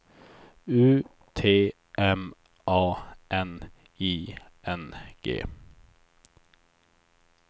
U T M A N I N G